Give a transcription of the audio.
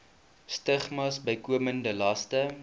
stigmas bykomende laste